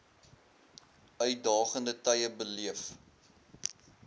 uitdagende tye beleef